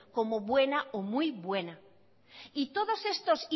como buena o muy buena y todos estos